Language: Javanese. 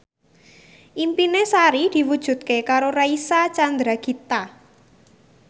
impine Sari diwujudke karo Reysa Chandragitta